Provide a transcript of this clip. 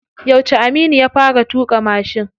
Yauce Aminu ya fara tuƙa mashin?